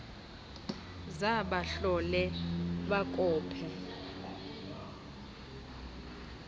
za bahlole bakope